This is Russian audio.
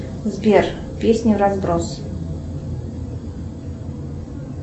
сбер песни вразброс